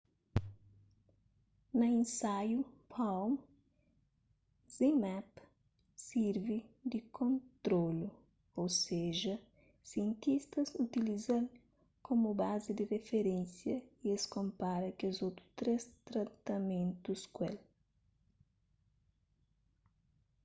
na insaiu palm zmapp sirvi di kontrolu ô seja sientistas utiliza-l komu bazi di riferénsia y es konpara kes otu três tratamentus ku el